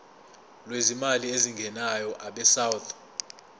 lwezimali ezingenayo abesouth